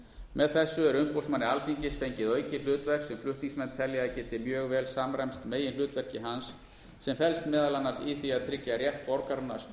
með þessu er umboðsmanni alþingis fengið aukið hlutverk sem flutningsmenn telja að geti mjög vel samræmst meginhlutverki hans sem felst meðal annars í því að tryggja rétt borgaranna